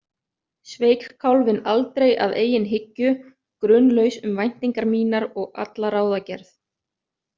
Sveik kálfinn aldrei að eigin hyggju, grunlaus um væntingar mínar og alla ráðagerð.